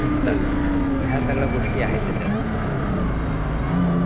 तर या सगळ्या गोष्टी आहे त्याच्यात